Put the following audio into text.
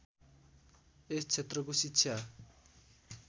यस क्षेत्रको शिक्षा